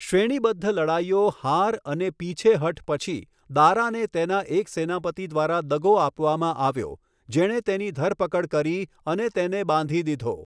શ્રેણીબદ્ધ લડાઈઓ, હાર અને પીછેહઠ પછી, દારાને તેના એક સેનાપતિ દ્વારા દગો આપવામાં આવ્યો, જેણે તેની ધરપકડ કરી અને તેને બાંધી દીધો.